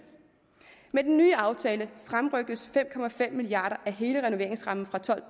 med den nye aftale fremrykkes fem milliard kroner af hele renoveringsrammen fra